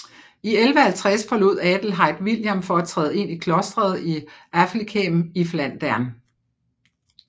I 1150 forlod Adelheid William for at træde ind i klostret i Afflighem i Flandern